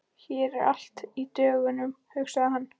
Hér er allt í dögun, hugsaði hann.